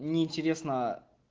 неинтересно